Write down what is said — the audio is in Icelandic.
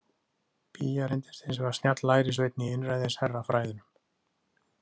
Biya reyndist hins vegar snjall lærisveinn í einræðisherrafræðunum.